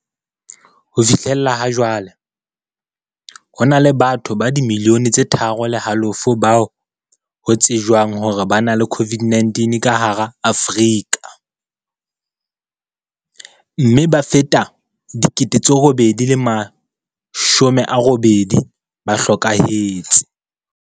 Ho fihlela hajwale, ho na le batho ba dimiliyone tse tharo le halofo ba ho tsejwang hore ba na le COVID-19 ka hara Afrika, mme ba fetang 88 000 ba hlokahetse.